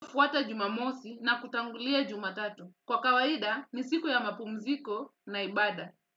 Fuata Jumamosi na kutangulia Jumatatu. Kwa kawaida ni siku ya mapumziko na ibada.